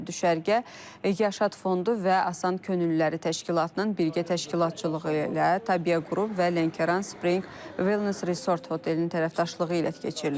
Düşərgə Yaşad fondu və Asan Könüllüləri təşkilatının birgə təşkilatçılığı ilə Təbiyə qrup və Lənkəran Spring Wellness Resort hotelinin tərəfdaşlığı ilə keçirilir.